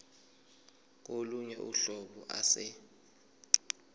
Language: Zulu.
kolunye uhlobo ase